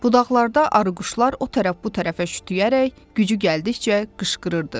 Budaqlarda arıquşlar o tərəf bu tərəfə şütüyərək gücü gəldikcə qışqırırdı.